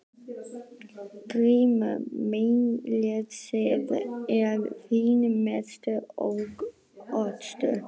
GRÍMUR: Meinleysið er þinn mesti ókostur.